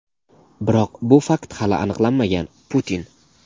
biroq bu fakt hali aniqlanmagan – Putin.